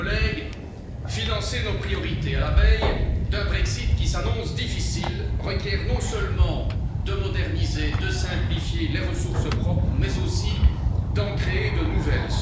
Chers collègues, financer nos priorités à la veille d'un Brexit qui s'annonce difficile requiert non seulement de moderniser, de simplifier les ressources propres, mais aussi d'en créer de nouvelles.